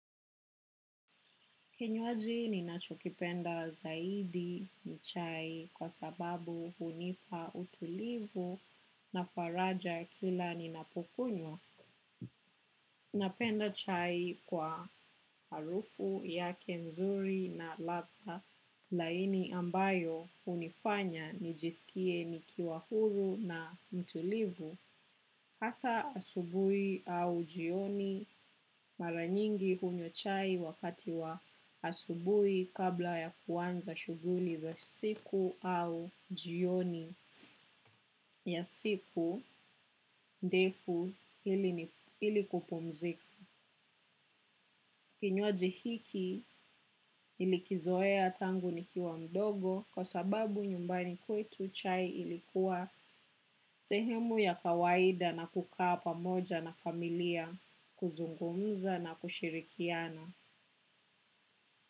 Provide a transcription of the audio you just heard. Kinywaji ninachokipenda zaidi ni chai kwa sababu hunipa utulivu na faraja kila ninapokunywa. Napenda chai kwa harufu yake nzuri na ladha laini ambayo hunifanya nijiskie nikiwa huru na mtulivu. Hasa asubuhi au jioni mara nyingi hunywa chai wakati wa asubuhi kabla ya kuanza shughuli za siku au jioni ya siku ndefu ili kupumzika. Kinywaji hiki nilikizoea tangu nikiwa mdogo kwa sababu nyumbani kwetu chai ilikuwa sehemu ya kawaida na kukaa pamoja na familia kuzungumza na kushirikiana.